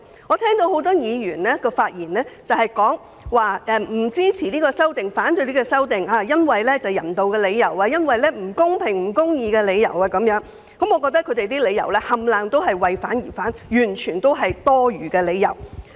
我聽到很多議員在發言中指出不會支持並要反對《條例草案》，原因是基於人道理由，認為《條例草案》不公平、不公義，但我認為這些理由全屬為反對而反對，根本就是多餘。